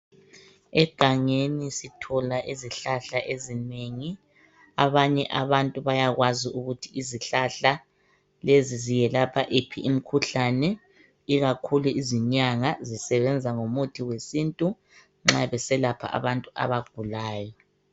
Egangeni sithola izihlahla ezinengi abanye abantu bayakwazi ukuthi izihlahla lezi ziyelapha yiphi imikhuhlane ikakhulu izinyanga zisebenza ngomuthi wesintu nxa beselapha abantu abagulayo.